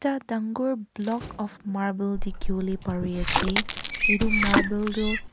dangor block of marble dekhibole bari ase etuarble tu.